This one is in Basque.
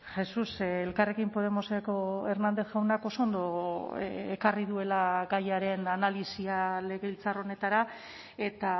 jesus elkarrekin podemoseko hernández jaunak oso ondo ekarri duela gaiaren analisia legebiltzar honetara eta